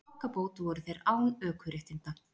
Í þokkabót voru þeir án ökuréttinda